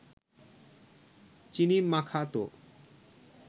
চিনি মাখাত